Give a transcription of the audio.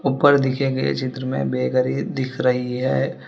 ऊपर दिखे गए चित्र में बेकरी दिख रही है।